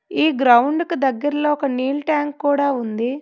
ఈ గ్రౌండ్ కు దగ్గర్లో ఒక నీల్ ట్యాంక్ కూడా ఉంది.